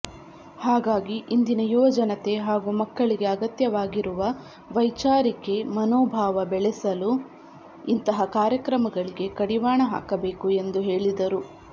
ಹಾಗಾಗಿ ಇಂದಿನ ಯುವಜನತೆ ಹಾಗೂ ಮಕ್ಕಳಿಗೆ ಅಗತ್ಯವಾಗಿರುವ ವೈಚಾರಿಕೆ ಮನೋಭಾವ ಬೆಳೆಸಲು ಇಂತಹ ಕಾರ್ಯಕ್ರಮಗಳಿಗೆ ಕಡಿವಾಣ ಹಾಕಬೇಕು ಎಂದು ಹೇಳಿದರು